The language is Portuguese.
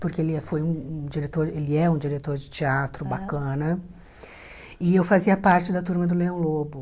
porque ele é foi um um diretor ele é um diretor de teatro bacana, e eu fazia parte da turma do Leão Lobo.